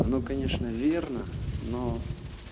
оно конечно верно но